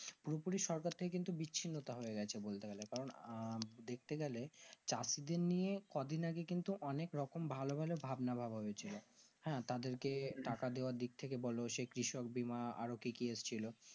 পুরো পুরি সরকার থেকে কিন্তু বিচ্ছিন্নতা হয়েগেছে বলতে গেলে কারণ আঃ দেখতে গেলে চাষীদের নিয়ে কদিন আগে কিন্তু অনেক রকম ভালো ভালো ভাবনা ভাবা হয়েছিল হ্যাঁ তাদের কে টাকা দেওয়ার দিকথেকে বোলো সেই কৃষক বীমা আরো কি কি এসেছিলো